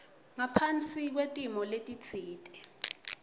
ngaphasi kwetimo letitsite